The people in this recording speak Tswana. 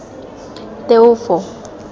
teofo